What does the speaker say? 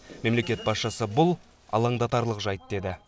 мемлекет басшысы бұл алаңдатарлық жайт деді